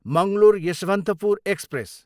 Mangalore, Yesvantpur express